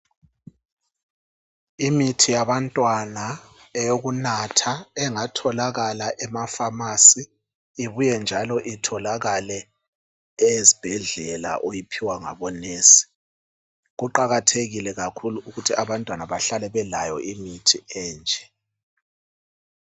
Imithi yabantwana ezwayo eyokunatha engatjolakala ema pharmacy ibuye njalo itholakale ezibhendlela oyiphiwa ngabo nurse kuqakathekile kakhulu ukuthi abantwana bahlale belayo imithi enje